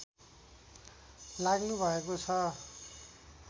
लाग्नु भएको छ